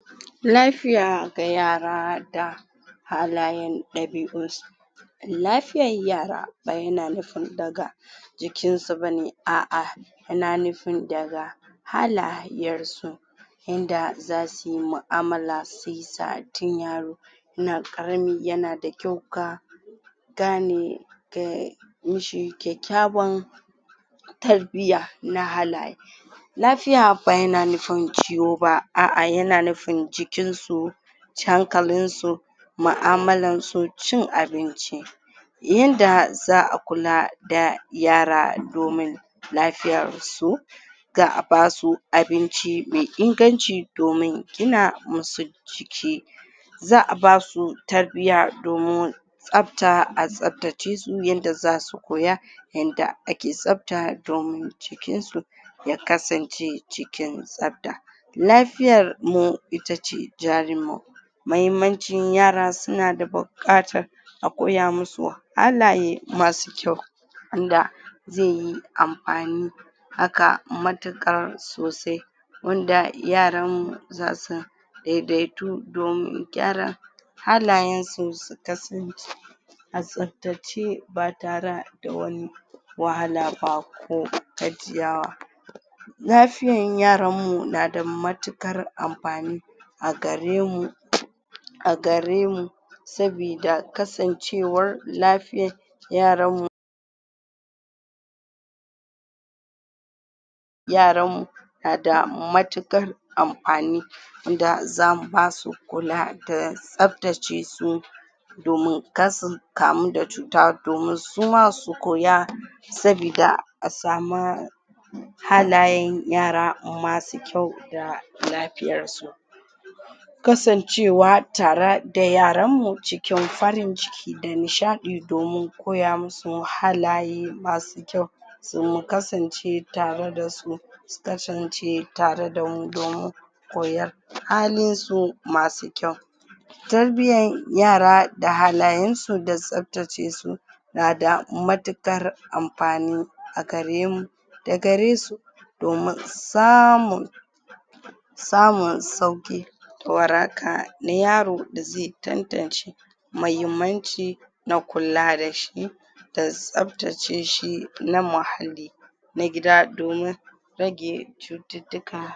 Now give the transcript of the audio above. lafiya ga yara da halayen ɗabi'un su lafiyan yara ba yana nufin daga jikin su bane a'a yana nufin daga halayyar su yanda zasu yi mu'amala shiyasa tin yaro yana ƙarami yana da kyau ka gane mi shi kyakkyawan tarbiya na halaye lafiya ba yana nufin ciwo ba a'a yana nufin jikin su hankalin su ma'amalan su cin abinci yanda za'a kula da yara domin lafiyar su ga a basu abinci me inganci domin gina mu su jiki za'a basu tarbiya domin tsabta, a tsabtace su yanda zasu koya yanda ake tsabta domin jikin su ya kasance cikin tsabta lafiyar mu ita ce jarin mu mahimmancin yara suna da bu ƙatar a koya mu su halaye masu kyau inga ze yi amfani haka matuƙar sosai wanda yaran mu za su dai-daitu domin gyara halayen su su kasance a tsabtace ba tara da wani wahala ba ko gajiyawa lafiyan yaran mu na da matuƙar amfani a gare mu a gare mu sabida kasancewar lafiya yaran mu yaranmu na da matuƙar amfani wanda zamu ba su kula da tsabtace su domin kar su kamu da cuta domin su ma su koya sabida a sama halayen yara masu kyau da lafiyar su kasancewa tara da yaranmu cikin farin ciki da nishaɗi domin koya mu su halaye masu kyau se mu kasance tare da su su kasance tare damu domin koyar halin su masu kyau tarbiyan yara da halayen su da tsabtace su na da matuƙar amfani a gare mu da gare su domin samun samun sauƙi waraka na yaro da ze tantance mahimmanci na kula da shi da tsabtace shi na muhalli na gida domin rage cututtuka